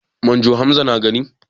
Manjo Hamza na gari?